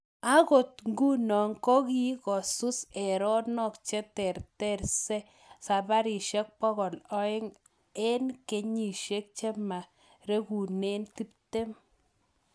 Agoi nguno kikosuus erenok cheterter saparisiek pokol oeng eng kenyisiek chemaregune tiptem